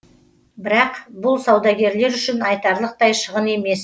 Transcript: бірақ бұл саудагерлер үшін айтарлықтай шығын емес